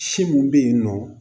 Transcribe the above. Si mun be yen nɔ